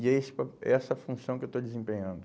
E é esse pa é essa função que eu estou desempenhando.